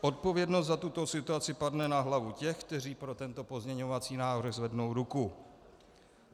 Odpovědnost za tuto situaci padne na hlavu těch, kteří pro tento pozměňovací návrh zvednou ruku.